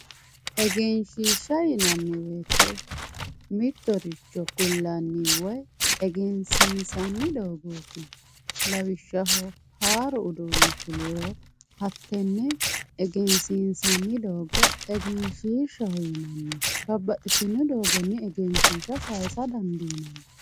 Egenshishsha yinnanni woyte mittoricho ku'lanni woyi egensiinsanni doogoti lawishshaho haaru uduuni fuliro hatene egensiinsanni doogo egenshishshaho yinanni babbaxxitino doogonni egenshishsha saysa dandiinanni.